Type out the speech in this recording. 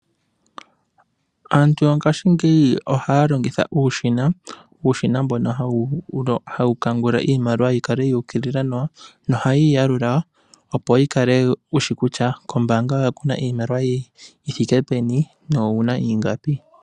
Aantu yongaashingeyi ohaya longitha uushina, uushina mbono hawu kangula iimaliwa yi kale ya ukilila nawa. Nohayi yi yalula opo wu kale wushi kutya kombaanga yoye oku na iimaliwa yithike peni, nowu na ingapi.